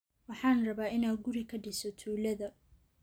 Waxaan rabaa inaan guri ka dhiso tuulada